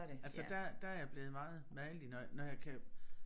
Altså der der er jeg blevet meget magelig når når jeg kan